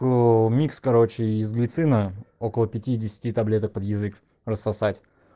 микс короче если цена около пятидесяти таблеток под язык рассосать